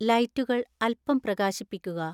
ലൈറ്റുകൾ അൽപ്പം പ്രകാശിപ്പിക്കുക